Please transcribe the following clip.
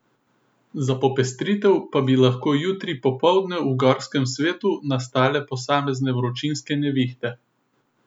Za popestritev pa bi lahko jutri popoldne v gorskem svetu nastale posamezne vročinske nevihte.